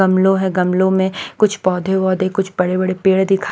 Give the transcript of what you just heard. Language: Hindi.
गमलो है गमलों में कुछ पौधे-वौधे कुछ बड़े-बड़े पेड़ दिख--